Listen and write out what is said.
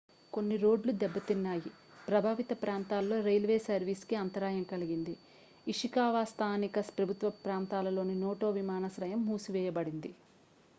కొన్ని రోడ్లు దెబ్బతిన్నాయి ప్రభావిత ప్రాంతాల్లో రైల్వే సర్వీస్ కి అంతరాయం కలిగింది ఇషికావా స్థానిక ప్రభుత్వ ప్రాంతంలోని నోటో విమానాశ్రయం మూసివేయబడింది